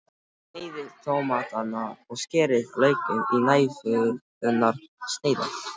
Sneiðið tómatana og skerið laukinn í næfurþunnar sneiðar.